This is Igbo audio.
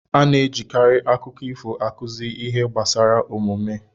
A na-ejikarị akụkọ ifo akụzi ihe gbasara omume.